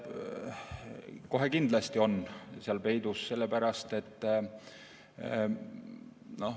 Kohe kindlasti on see seal peidus.